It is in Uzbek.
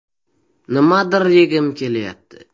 “Nimadir yegim kelyapti”.